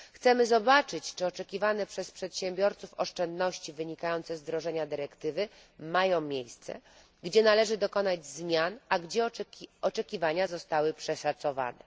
Chcemy zobaczyć, czy oczekiwane przez przedsiębiorców oszczędności wynikające z wdrożenia dyrektywy mają miejsce, gdzie należy dokonać zmian, a gdzie oczekiwania zostały przeszacowane.